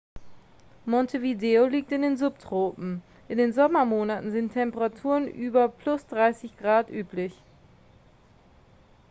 montevideo liegt in den subtropen. in den sommermonaten sind temperaturen über +30 °c üblich